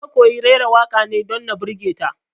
Na koyi raira waƙa ne don na birge ta